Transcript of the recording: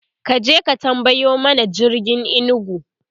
kaje ka tambayo mana jirgin inugu!